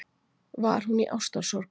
Var hún í ástarsorg?